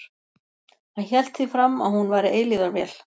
Hann hélt því fram að hún væri eilífðarvél.